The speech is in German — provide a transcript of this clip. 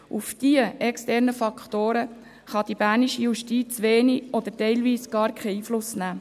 Auf diese externen Faktoren kann die bernische Justiz wenig oder teilweise gar keinen Einfluss nehmen.